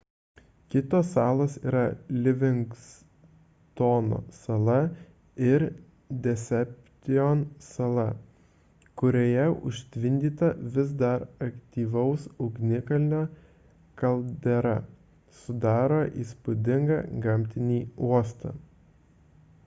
kitos salos yra livingstono sala ir deception sala kurioje užtvindyta vis dar aktyvaus ugnikalnio kaldera sudaro įspūdingą gamtinį uostą